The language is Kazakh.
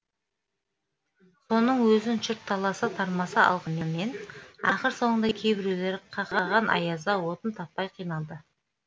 соның өзін жұрт таласа тармаса алғанымен ақыр соңында кейбіреулер қақаған аязда отын таппай қиналды